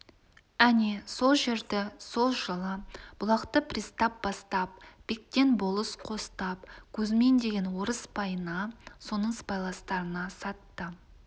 әне сол жерді сол жылы-бұлақты пристав бастап бектен болыс қостап кузьмин деген орыс байына соның сыбайластарына сатты